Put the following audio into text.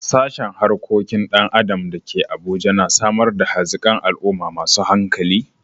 Sashen Harkokin Dan Adam da ke Abuja na samar da hazikan al'umma masu hankali.